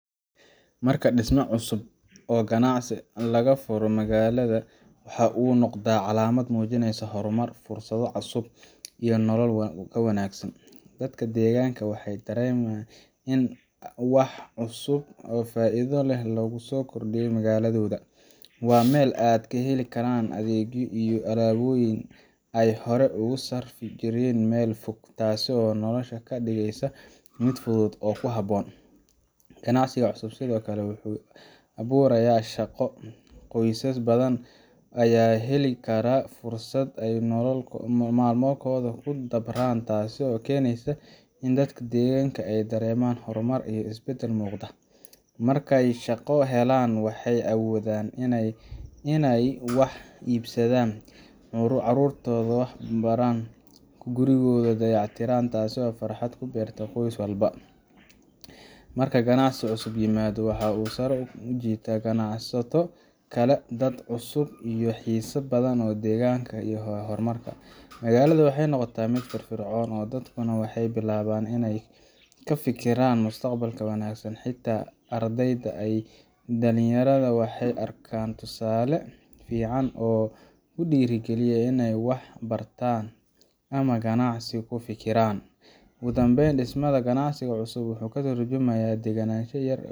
Marki disma cusub oo ganacsi laga furo magalada waxaa u noqda calamaad mujineysa fursaado cusub iyo nolol wanagsan, dadka deganka waxee dareman in wax cusub oo faidho leh lagu so kordiyo magaladoda waa meel aa kaheli karan adhegyo iyo alaboyin ee hore usarfi jiren meel fog tasi oo nolosha kadigeysa miid fudud oo ku habon, ganacsiga fudud wuxuu sithokale aburaya shaqo qoysas badan aya heli kara fursad ee nolol mal mahoda kudabran tasi oo kenesa in dadka deganka ee dareman isbadal muqda, marke shaqo helan waxee awodhan in ee wax ibsadan carurtoda wax baran gurigoda dayac tiran, tasi oo farxaad kuberta qois walba marka ganacsi cusub imado waxaa u sara ujita ganacsato kale dad cusub iyo xisad deganka iyo hormarka, magalaada waxee noqota miid fir fircon kafikiran mustaqbalka wanagsan , ardeyda waxee arkan tusale fican oo dira galiya in ee wax bartan ama ganacsi kufiran ugu danben gacasiga cusub wuxuu katurjumaya